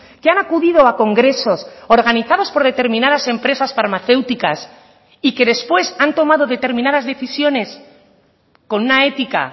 que han acudido a congresos organizados por determinadas empresas farmacéuticas y que después han tomado determinadas decisiones con una ética